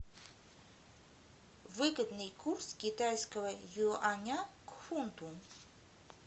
выгодный курс китайского юаня к фунту